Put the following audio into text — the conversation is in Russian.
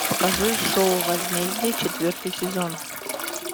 покажи шоу возмездие четвертый сезон